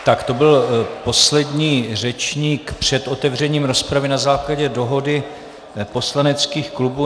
Tak to byl poslední řečník před otevřením rozpravy na základě dohody poslaneckých klubů.